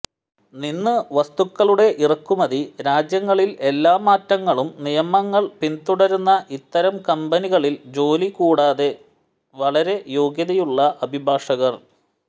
നിന്ന് വസ്തുക്കളുടെ ഇറക്കുമതി രാജ്യങ്ങളിൽ എല്ലാ മാറ്റങ്ങളും നിയമങ്ങൾ പിന്തുടരുന്ന ഇത്തരം കമ്പനികളിൽ ജോലി കൂടാതെ വളരെ യോഗ്യതയുള്ള അഭിഭാഷകർ